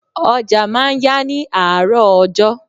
Ọjà máa ń yá ní àárọ̀ ọjọ́.